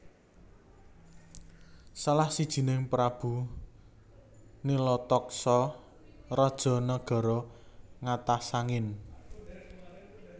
Salah sijining Prabu Nilataksaka raja Nagara Ngatasangin